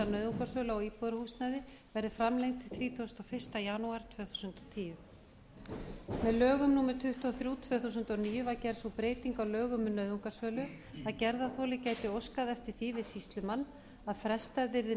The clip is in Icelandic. nauðungarsölu á íbúðarhúsnæði verði framlengt til þrítugasta og fyrsta janúar tvö þúsund og tíu með lögum númer tuttugu og þrjú tvö þúsund og níu var gerð sú breyting á lögum um nauðungarsölu að gerðarþoli gæti óskað eftir því við sýslumann að frestað yrði